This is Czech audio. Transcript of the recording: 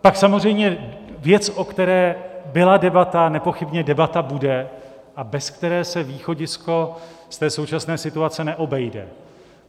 Pak samozřejmě věc, o které byla debata a nepochybně debata bude a bez které se východisko ze současné situace neobejde.